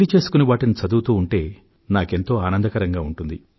వీలు చేసుకుని వాటిని చదువుతూ ఉంటే నాకెంతో ఆనందకరంగా ఉంటుంది